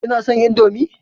Kina son indomie?